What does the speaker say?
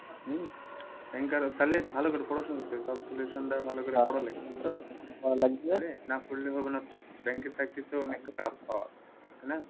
তাহলে ভালো করে পড়াশোনা job solution থেকে ভালো করে পড়া লাগবে বুঝছো? না পড়লে হবে না তো bank এর চাকরি তো অনেক tough হয় তাই না?